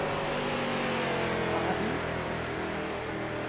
Paradis